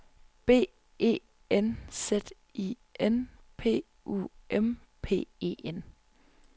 B E N Z I N P U M P E N